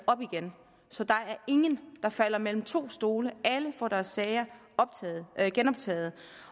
op igen så der er ingen der falder mellem to stole alle får deres sager genoptaget